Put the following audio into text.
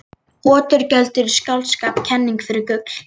Oturgjöld eru í skáldskap kenning fyrir gull.